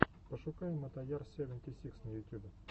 пошукай мотояр севенти сикс на ютюбе